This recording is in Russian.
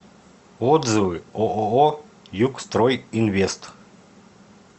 отзывы ооо югстройинвест